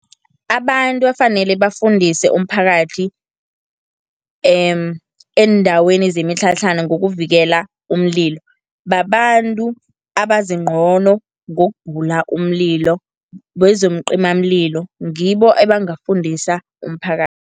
Abantu efanele bafundise umphakathi, eendaweni zemitlhatlhana ngokuvikela umlilo, babantu abazi ncono ngokubhula umlilo bezeencimamlilo ngibo abangafundisa umphakathi.